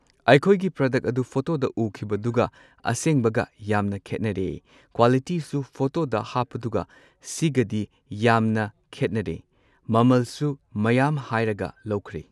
ꯑꯩꯈꯣꯏꯒꯤ ꯄ꯭ꯔꯗꯛ ꯑꯗꯨ ꯐꯣꯇꯣꯗ ꯎꯈꯤꯕꯗꯨꯒ ꯑꯁꯦꯡꯕꯒ ꯌꯥꯝꯅ ꯈꯦꯠꯅꯔꯦ ꯀ꯭ꯋꯥꯂꯤꯇꯤꯁꯨ ꯐꯣꯇꯣꯗ ꯍꯥꯞꯄꯗꯨꯒ ꯁꯤꯒꯗꯤ ꯌꯥꯝꯅ ꯈꯦꯠꯅꯔꯦ꯫ꯃꯃꯜꯁꯨ ꯃꯌꯥꯝ ꯍꯥꯏꯔꯒ ꯂꯧꯈ꯭ꯔꯦ꯫